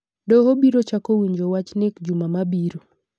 Doho biro chako winjo wach nek juma mabiro .